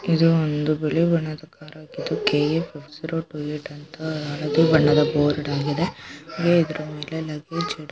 ಇದು ಒಂದು ಬಿಳಿ ಬಣ್ಣದ ಕಾರಾಗಿದ್ದು KA five six zero two eight ಅಂತ ಅಳದಿ ಬಣ್ಣದ ಬೋರ್ಡ್ ಆಗಿದೆ. ಅಂಗೇ ಇದರ್ ಮೇಲೆ ಲಗ್ಗೇಜ್ ಇಡೋಕ್ಕೆ --